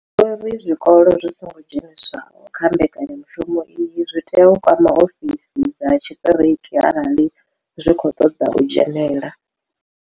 Vho ri zwikolo zwi songo dzheniswaho kha mbekanya mushumo iyi zwi tea u kwama ofisi dza tshiṱiriki arali zwi tshi khou ṱoḓa u dzhenela.